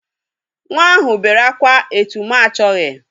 Nwa ahụ bere akwa etu m achọghi.